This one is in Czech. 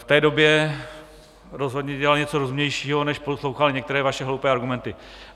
V té době rozhodně dělali něco rozumnějšího, než poslouchali některé vaše hloupé argumenty.